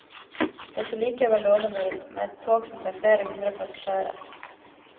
Det så likevel lovende ut med et tog som tar flere hundre passasjerer.